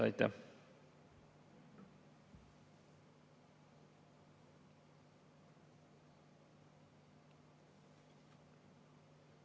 Aitäh!